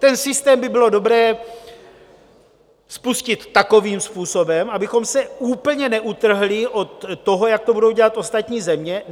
Ten systém by bylo dobré spustit takovým způsobem, abychom se úplně neutrhli od toho, jak to budou dělat ostatní země.